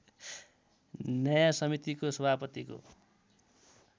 न्याय समितिको सभापतिको